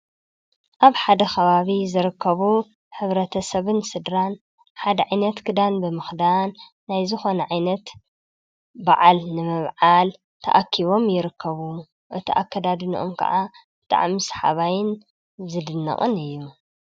አብ ሓደ ኸባቢ ዝርከቡ ሕብረተ ሰብን ስድራን ሓደ ዓይነት ክዳን ብምኽዳን ናይ ዝኮነ ዓይነት ብዓል ንምብዓል ተአኪቦም ይርከቡ። እቲ አከዳድነአም ከዓ ብጣዕሚ ስሓባይን ዝድነቕን እዩ።